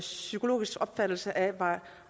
psykologiske opfattelse af